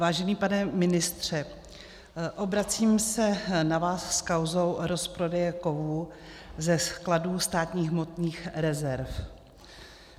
Vážený pane ministře, obracím se na vás s kauzou rozprodeje kovů ze skladů státních hmotných rezerv.